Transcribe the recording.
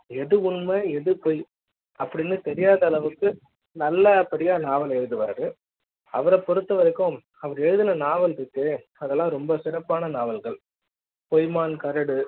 எது உண்மை எது பொய் அப்படின்னு தெரியாத அளவுக்கு நல்லபடியா நாவல்ல எழுதுவாரு அவரைப் பொறுத்த வரைக்கும் அவர் எழுதின நாவல் இருக்கே அதெல்லாம் ரொம்ப சிறப்பான நாவல்கள் பொய்மான் கரடு